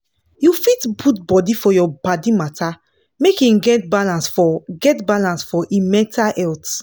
you fit put body for your paddy matter make him get balance for get balance for him mental health